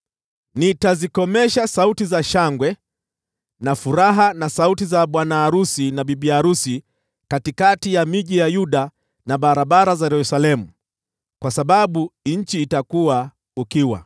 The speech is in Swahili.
Nitazikomesha sauti za shangwe na furaha, na sauti za bwana arusi na bibi arusi katikati ya miji ya Yuda na barabara za Yerusalemu, kwa sababu nchi itakuwa ukiwa.